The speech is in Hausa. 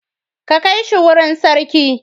Ka kai shi wurin sarki.